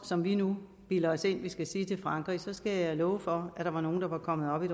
som vi nu bilder os ind at vi skal sige til frankrig så skal jeg love for at der var nogle der var kommet op i